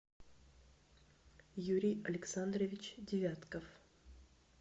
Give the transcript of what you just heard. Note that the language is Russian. юрий александрович девятков